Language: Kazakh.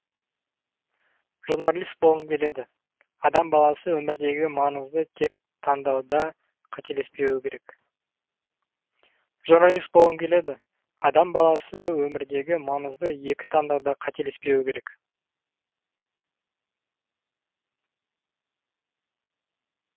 журналист болғым келеді адам баласы өмірдегі маңызды екі таңдауда қателеспеуі керек